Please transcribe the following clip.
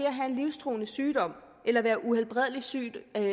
at have en livstruende sygdom eller være uhelbredelig syg er